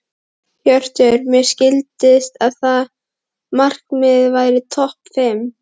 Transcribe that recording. Hjörtur: Mér skildist að markmiðið væri topp fimm?